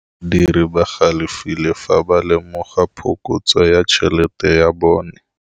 Badiri ba galefile fa ba lemoga phokotsô ya tšhelête ya bone.